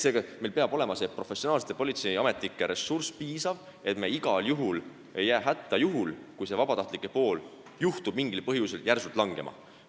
Seega, meil peab olema piisav professionaalsete politseiametnike ressurss, et me ei jääks hätta ka juhul, kui see vabatahtlike pool juhtub mingil põhjusel järsult vähenema.